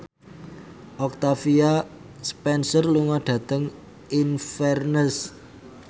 Octavia Spencer lunga dhateng Inverness